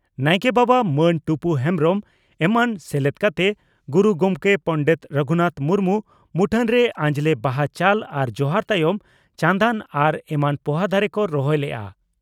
ᱱᱟᱭᱠᱮ ᱵᱟᱵᱟ ᱢᱟᱹᱱ ᱴᱩᱯᱩ ᱦᱮᱢᱵᱽᱨᱚᱢ ᱮᱢᱟᱱ ᱥᱮᱞᱮᱫ ᱠᱟᱛᱮ ᱜᱩᱨᱩ ᱜᱚᱢᱠᱮ ᱯᱚᱸᱰᱮᱛ ᱨᱟᱹᱜᱷᱩᱱᱟᱛᱷ ᱢᱩᱨᱢᱩ ᱢᱩᱴᱷᱟᱹᱱ ᱨᱮ ᱟᱸᱡᱽᱞᱮ ᱵᱟᱦᱟ ᱪᱟᱞ ᱟᱨ ᱡᱚᱦᱟᱨ ᱛᱟᱭᱚᱢ ᱪᱟᱸᱱᱫᱟᱱ ᱟᱨ ᱮᱢᱟᱱ ᱯᱚᱦᱟ ᱫᱟᱨᱮ ᱠᱚ ᱨᱚᱦᱚᱭ ᱞᱮᱫᱼᱟ ᱾